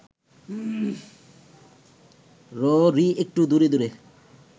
ররী একটু দূরে দূরে